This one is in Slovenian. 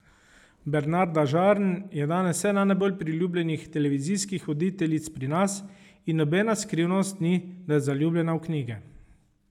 Bernarda Žarn je danes ena najbolj priljubljenih televizijskih voditeljic pri nas in nobena skrivnost ni, da je zaljubljena v knjige.